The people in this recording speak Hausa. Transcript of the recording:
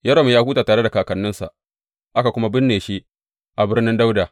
Yoram ya huta tare da kakanninsa, aka kuma binne shi a birnin Dawuda.